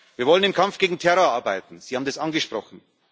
Wir wollen am Kampf gegen Terror arbeiten Sie haben es angesprochen.